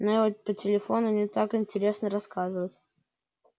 но его по телефону не так интересно рассказывать